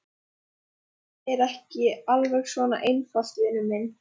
En þetta er nú ekki alveg svona einfalt, vinur minn.